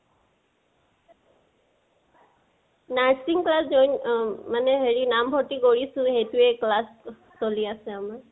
nursing class join অ মানে হেৰি নাম ভৰ্তি কৰিছোঁ, সেইটোয়ে class চলে আছে আমাৰ।